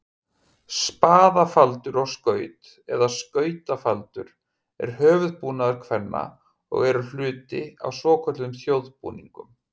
Spaðafaldur og skaut, eða skautafaldur, er höfuðbúnaður kvenna og eru hluti af svokölluðum þjóðbúningum.